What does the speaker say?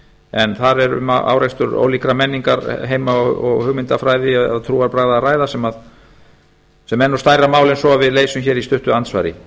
en þar er um árekstur ólíkra menningarheima og hugmyndafræði eða trúarbragða að ræða sem er nú stærra mál en svo að við leysum hér í stuttu andsvari